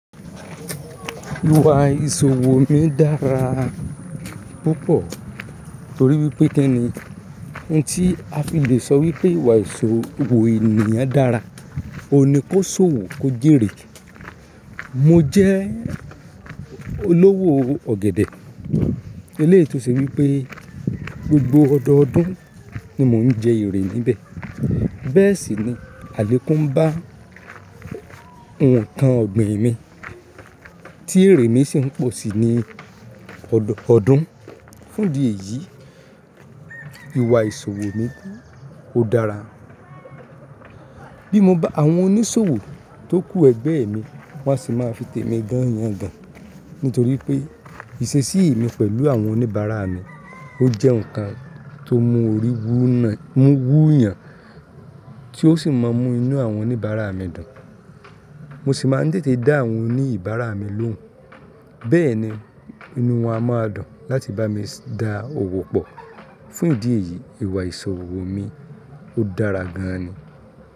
Ìwà ìṣòwò mi dára púpọ̀ torí wípé kinni, ohun tí a fi lè sọ wípé ìwà ìṣòwò ènìyàn dára, òun ni kó ṣòwò kó jèrè. Mo jẹ́ olówó ọ̀gẹ̀dẹ̀. Eléyi tò ṣe wípé gbogbo ọ̀dọọdún ni mò ń jẹ èrè níbẹ̀. Bẹ́ẹ̀ sì ni àlékún ń bá nǹkan ọ̀gbìn mi tí èrè mi sì ń pọ̀ sí ní ọ̀dọọdún. Fún ìdí èyí, ìwà ìṣòwò mi ó dára. Bí mo bá àwọn oníṣòwò tó kú ẹgbẹ́ mi wọ́n á sì máa fi tèmi gán yàn gan ní torí pé ìṣesí mi pẹ̀lú àwọn oníbàárà mi ó jẹ́ ǹkan tó mú orí wú yàn tí ó sì máa ń mú inú àwọn oníbàárà mi dùn. Mo sì máa ń tètè dá àwọn oníbàárà mi lóhùn. Bẹ́ẹ̀ni, inú wọn a máa dùn láti bámi dòwò pọ̀. Fún ìdí èyí, ìwà ìṣòwò mi ó dára gan ni.